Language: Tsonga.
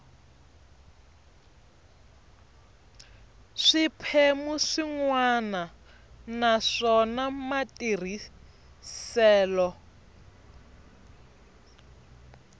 swiphemu swin wana naswona matirhiselo